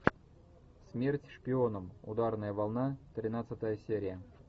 смерть шпионам ударная волна тринадцатая серия